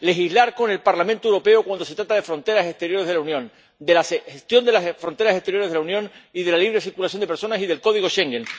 Legislar con el Parlamento Europeo cuando se trata de fronteras exteriores de la Unión, de la gestión de las fronteras exteriores de la Unión y de la libre circulación de personas y del código Schengen.